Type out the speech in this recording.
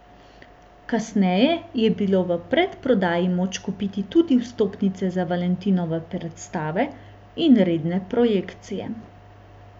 Kasneje je bilo v predprodaji moč kupiti tudi vstopnice za valentinove predstave in redne projekcije.